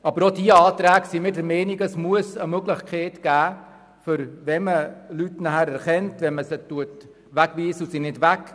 Aber wir sind der Meinung, dass es eine Möglichkeit geben muss, die Kosten auf diejenigen zu überwälzen, die weggewiesen werden, aber nicht weggehen.